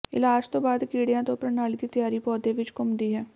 ਇਲਾਜ ਤੋਂ ਬਾਅਦ ਕੀੜਿਆਂ ਤੋਂ ਪ੍ਰਣਾਲੀ ਦੀ ਤਿਆਰੀ ਪੌਦੇ ਵਿਚ ਘੁੰਮਦੀ ਹੈ